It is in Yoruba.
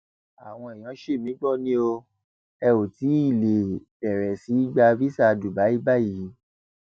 àwọn èèyàn sì mí gbọ ni o ẹ ò tí ì lè bẹrẹ sí í gba visà dubai báyìí